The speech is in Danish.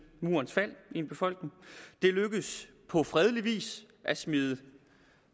murens fald det er lykkedes på fredelig vis at smide